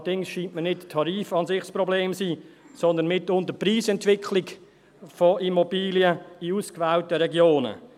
Allerdings scheint mir nicht der Tarif an sich das Problem zu sein, sondern mitunter die Preisentwicklung von Immobilien in ausgewählten Regionen.